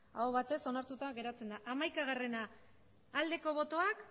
aho batez onartuta geratzen da hamaikagarrena ebazpena aldeko botoak